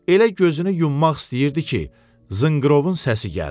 Elə gözünü yummaq istəyirdi ki, zınqırovun səsi gəldi.